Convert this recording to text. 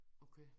Okay